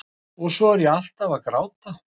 Og svo er ég alltaf að gráta.